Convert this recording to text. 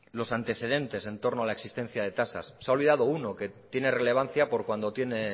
los antecedentes en torno a la existencia de tasas se ha olvidado uno que tiene relevancia por cuando tiene